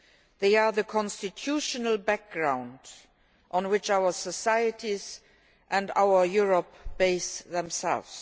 They are the constitutional foundations on which our societies and our Europe base themselves.